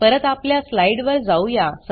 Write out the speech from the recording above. परत आपल्या स्लाइड वर जाऊया